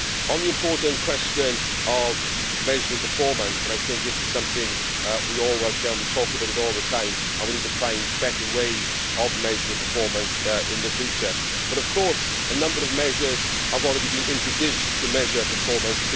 On the important question of measuring performance and I think this is something we all welcome, we talk about it all the time and we need to find better ways of measuring performance in the future of course a number of measures have already been introduced to measure performance.